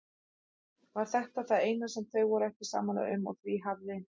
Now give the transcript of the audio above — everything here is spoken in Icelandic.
Var þetta það eina sem þau voru ekki sammála um og því hafði